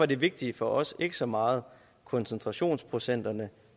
det vigtige for os ikke så meget koncentrationsprocenterne